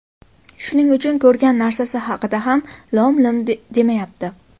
Shuning uchun ko‘rgan narsasi haqida ham lom-lim demayapti”.